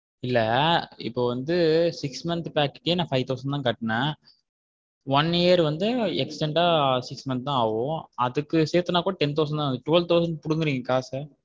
இல்ல இப்போ வந்து six month pack க்கு நா five thousand தான் கட்டுன்னேன் one year வந்து extend யா six month தான் ஆகும் அதுக்கு சேர்த்துனா கூட ten percent தான் ஆகுது twelve thousand புடுங்குறீங்க காச.